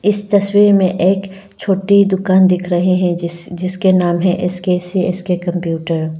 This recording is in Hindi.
इस तस्वीर में एक छोटी दुकान दिख रहे हैं जिस जिसके नाम है S K C S K computer.